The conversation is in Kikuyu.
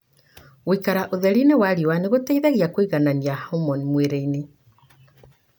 Gũĩkara ũtherinĩ wa riũa nĩ gũteithagia kũiganania homoni mwĩrĩinĩ.